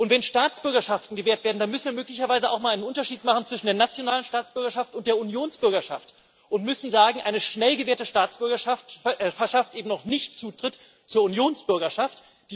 Wenn Staatsbürgerschaft gewährt werden, dann müssen wir möglicherweise auch mal einen Unterschied machen zwischen der nationalen Staatsbürgerschaft und der Unionsbürgerschaft und müssen sagen Eine schnell gewährte Staatsbürgerschaft verschafft eben noch nicht Zutritt zur Unionsbürgerschaft.